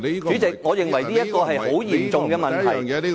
主席，我認為這是很嚴重的問題。